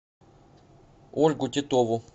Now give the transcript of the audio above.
ольгу титову